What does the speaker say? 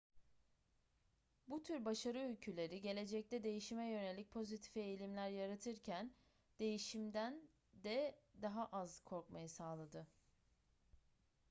bu tür başarı öyküleri gelecekte değişime yönelik pozitif eğilimler yaratırken değişimden de daha az korkmayı sağladı